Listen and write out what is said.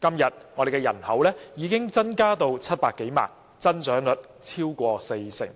今天我們的人口已經增加至700多萬人，增長率超過四成。